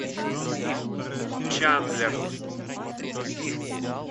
чандлер